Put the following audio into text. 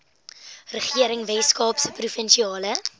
regering weskaapse provinsiale